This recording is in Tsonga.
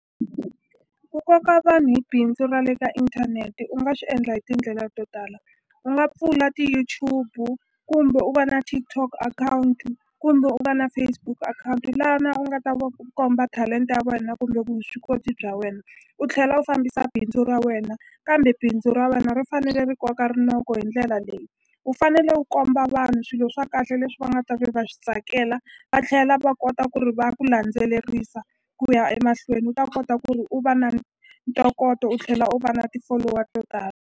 Ku koka vanhu hi bindzu ra le ka inthaneti u nga swi endla hi tindlela to tala u nga pfula ti-YouTube kumbe u va na TikTok akhawunti kumbe u va na Facebook akhawunti lana u nga ta ku komba talenta ya wena kumbe vuswikoti bya wena u tlhela u fambisa bindzu ra wena kambe bindzu ra wena ri fanele ri koka rinoko hi ndlela leyi u fanele u komba vanhu swilo swa kahle leswi va nga ta ve va swi tsakela va tlhela va kota ku ri va ku landzelerisa ku ya emahlweni u ta kota ku ri u va na ntokoto u tlhela u va na ti-follower to tala.